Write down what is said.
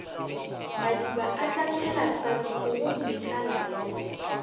madiba atlapšhela sa rurigomme tlalayae